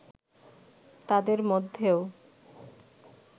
তাদের মধ্যেও